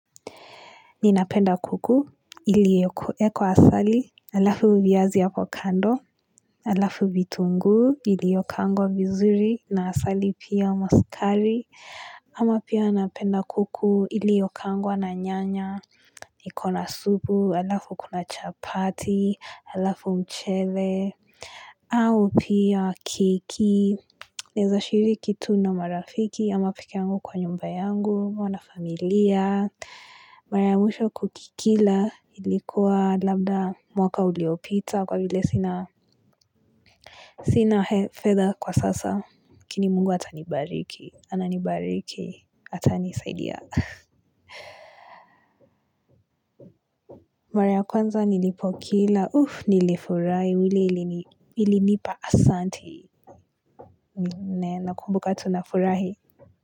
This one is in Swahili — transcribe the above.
Ninapenda kuku, iliyoekwa asali, alafu viazi hapo kando, alafu vitunguu, iliyokaangwa vizuri, na asali pia ama sukari. Ama pia napenda kuku, iliyokaangwa na nyanya, ikobna supu, alafu kuna chapati, alafu mchele. Au pia keki naeza shiriki tu na marafiki pekee yangu kwa nyumba yangu au na familia mara ya mwisho kukila ilikuwa labda mwaka uliyopita kwa vile sina sina fedhA kwa sasa lakini mungu atanibariki ananibariki atanisaidia mara kwanza nilipokila uff nilifurahi ilinipa asanti nakumbuka tu nafurahi.